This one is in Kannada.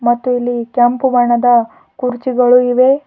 ಮತ್ತು ಇಲ್ಲಿ ಕೆಂಪು ಬಣ್ಣದ ಕುರ್ಚಿಗಳು ಇವೆ.